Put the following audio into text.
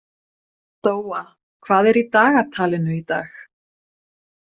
Dóa, hvað er í dagatalinu í dag?